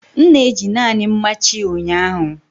M na-eji naanị mmachi ụnyaahụ.